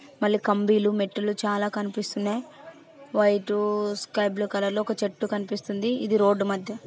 మల్లి కంబిలు మెట్లు చాలా కనిపిస్తున్నాయి వైట్ స్కై బ్లు కలర్ లో ఒక చెట్టు కనిపిస్తుంది ఇది రోడ్డు మధ్య --